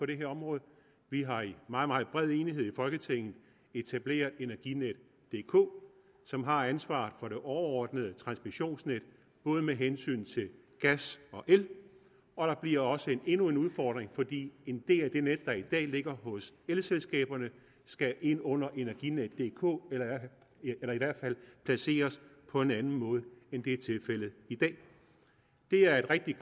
det her område vi har i meget meget bred enighed i folketinget etableret energinetdk som har ansvaret for det overordnede transmissionsnet både med hensyn til gas og el og der bliver også endnu en udfordring for en del af det net der i dag ligger hos elselskaberne skal ind under energinetdk eller i hvert fald placeres på en anden måde end det er tilfældet i dag det her er et rigtig